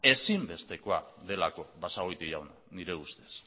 ezinbestekoa delako basagoiti jauna nire ustez